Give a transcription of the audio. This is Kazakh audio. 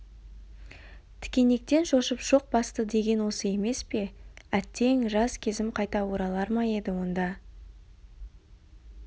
тікенектен шошып шоқ басты деген осы емес пе әттең жас кезім қайта оралар ма еді онда